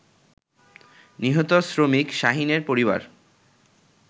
নিহত শ্রমিক শাহীনের পরিবার